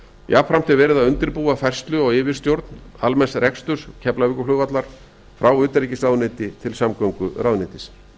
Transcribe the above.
jafnframt er verið að undirbúa færslu á yfirstjórn almenns reksturs keflavíkurflugvallar frá utanríkisráðuneyti til samgönguráðuneytis